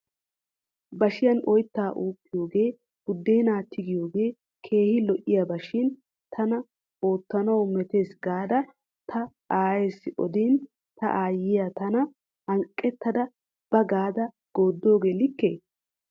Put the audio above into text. Bashiyan oyta uukiyooge buddena tigiyooge keehi lo'iyaba shin tana oottanaw metes gaada ta aayessi odin ta aayiya tana hanqqetada ba gaada goodogee likkee?